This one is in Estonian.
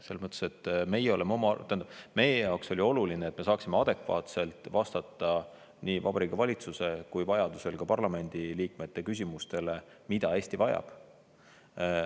Selles mõttes, et meie jaoks oli oluline, et me saaksime adekvaatselt vastata nii Vabariigi Valitsuse kui vajadusel ka parlamendiliikmete küsimustele, mida Eesti vajab.